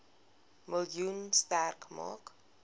miljoen sterk maak